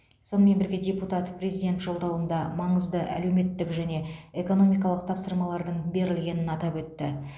сонымен бірге депутат президент жолдауында маңызды әлеуметтік және экономикалық тапсырмалардың берілгенін атап өтті